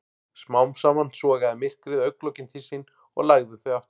Smám saman sogaði myrkrið augnlokin til sín og lagði þau aftur.